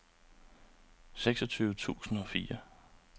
seksogtyve tusind og fire